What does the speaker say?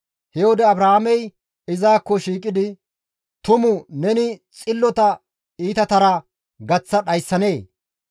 He wode Abrahaamey izakko shiiqidi, «Tumu neni xillota iitatara gaththa dhayssanee?